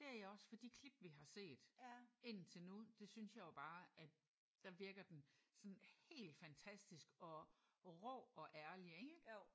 Det er jeg også for de klip vi har set indtil nu det synes jeg jo bare at der virker den sådan helt fantastisk og rå og ærlig ik?